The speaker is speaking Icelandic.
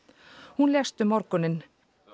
hún lést um morguninn